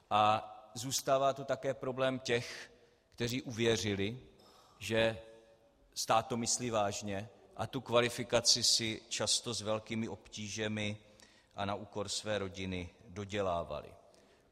A zůstává tu také problém těch, kteří uvěřili, že to stát myslí vážně, a tu kvalifikaci si často s velkými obtížemi a na úkor své rodiny dodělávali.